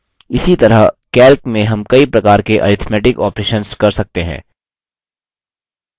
इसी तरह calc में हम कई प्रकार के arithmetic operations कर सकते हैं